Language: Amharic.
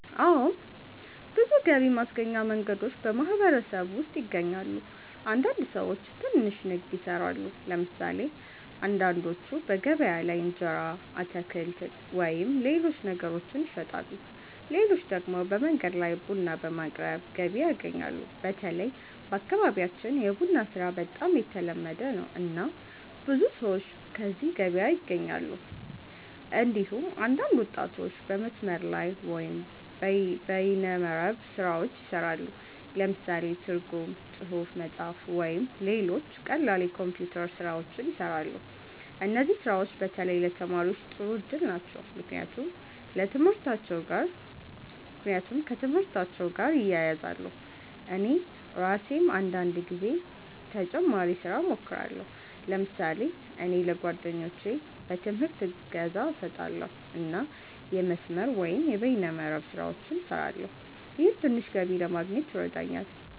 አዎ። ብዙ ገቢ ማስገኛ መንገዶች በማህበረሰቡ ውስጥ ይገኛሉ። አንዳንድ ሰዎች ትንሽ ንግድ ይሰራሉ። ለምሳሌ አንዳንዶቹ በገበያ ላይ እንጀራ፣ አትክልት ወይም ሌሎች ነገሮችን ይሸጣሉ። ሌሎች ደግሞ በመንገድ ላይ ቡና በማቅረብ ገቢ ያገኛሉ። በተለይ በአካባቢያችን የቡና ስራ በጣም የተለመደ ነው፣ እና ብዙ ሰዎች ከዚህ ገቢ ያገኛሉ። እንዲሁም አንዳንድ ወጣቶች በመስመር ላይ (በይነ መረብ) ስራዎች ይሰራሉ። ለምሳሌ ትርጉም፣ ጽሁፍ መጻፍ፣ ወይም ሌሎች ቀላል የኮምፒውተር ስራዎች ይሰራሉ። እነዚህ ስራዎች በተለይ ለተማሪዎች ጥሩ እድል ናቸው፣ ምክንያቱም ከትምህርታቸው ጋር ይያያዛሉ። እኔ ራሴም አንዳንድ ጊዜ ተጨማሪ ስራ እሞክራለሁ። ለምሳሌ እኔ ለጓደኞቼ በትምህርት እገዛ እሰጣለሁ እና የመስመር(በይነ መረብ) ስራዎችን እሰራለሁ። ይህም ትንሽ ገቢ ለማግኘት ይረዳኛል።